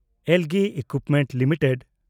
LG equipments limited